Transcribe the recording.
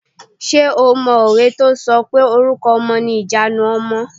Ṣé o mọ òwe tí o sọ pé "Orúkọ ọmọ ni ìjanu ọmọ".